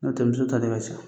Nɔ tɛ muso tɛ ta ne ka so.